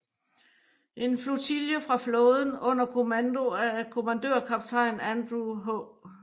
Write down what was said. En flotille fra flåden under kommando af kommandørkaptajn Andrew H